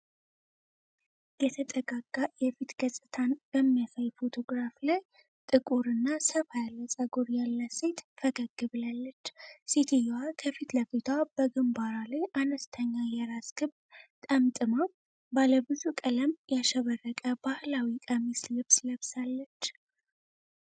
የተጠጋጋ የፊት ገጽታን በሚያሳይ ፎቶግራፍ ላይ፣ ጥቁርና ሰፋ ያለ ፀጉር ያላት ሴት ፈገግ ብላለች። ሴትየዋ ከፊት ለፊቷ በግንባሯ ላይ አነስተኛ የራስ ክብ ጠምጥማ፣ ባለ ብዙ ቀለም ያሸበረቀ ባህላዊ ቀሚስ ልብስ ለብሳለች።